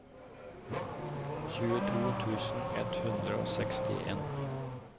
tjueto tusen ett hundre og sekstien